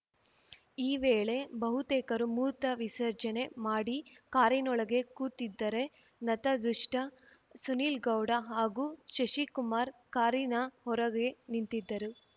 ಈ ವೇಳೆ ಬಹುತೇಕರು ಮೂತವಿಸರ್ಜನೆ ಮಾಡಿ ಕಾರಿನೊಳಗೆ ಕೂತಿದ್ದರೆ ನತದೃಷ್ಟಸುನಿಲ್‌ಗೌಡ ಹಾಗೂ ಶಶಿಕುಮಾರ್‌ ಕಾರಿನ ಹೊರಗೆ ನಿಂತಿದ್ದರು